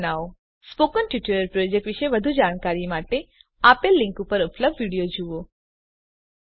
spoken tutorial project વિશે વધુ જાણકારી માટે આપેલ લીંક પર ઉપલબ્ધ વિડીયો જુઓ httpspoken tutorialorgWhat is a Spoken Tutorial